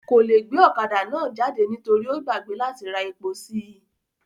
Kò le gbe ọ̀kadà náà jáde nítorí ó gbàgbé láti ra epo sí i